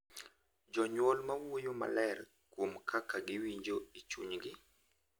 Jonyuol ma wuoyo maler kuom kaka giwinjo e chunygi .